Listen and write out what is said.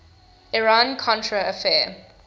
iran contra affair